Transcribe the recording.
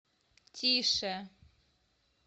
тише